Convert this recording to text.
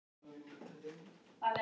una, hún var að verða fimm.